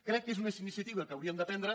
crec que és una iniciativa que hauríem de prendre